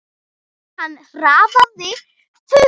Og hann hraðaði för.